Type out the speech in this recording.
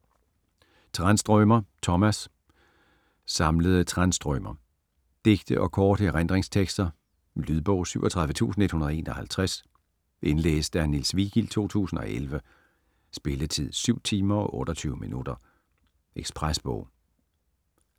Tranströmer, Tomas: Samlede Tranströmer Digte og korte erindringstekster. Lydbog 37151 Indlæst af Niels Vigild, 2011. Spilletid: 7 timer, 28 minutter. Ekspresbog